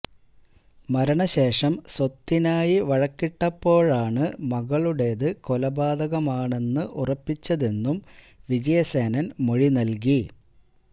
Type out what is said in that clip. മരണ ശേഷം സ്വത്തിനായി വഴക്കിട്ടപ്പോഴാണ് മകളുടേത് കൊലപാതകമാണെന്ന് ഉറപ്പിച്ചതെന്നും വിജയസേനന് മൊഴി നല്കി